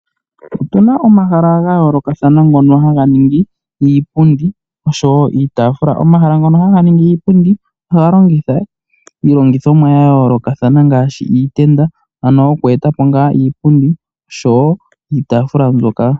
Okuna omahala gayoloka kathana ngono haga ningi iipundi oshowo iitafula. Omahala ngono haga ningi iipundi ohaga longitha iilongothomwa yayoloka thana ngashi iitenda ano okweetapo ngaa iipundi oshowo iitafula.